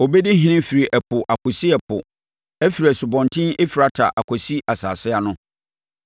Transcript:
Ɔbɛdi ɔhene afiri ɛpo akɔsi ɛpo afiri Asubɔnten Efrata akɔsi asase ano.